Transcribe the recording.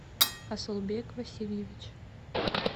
асулбек васильевич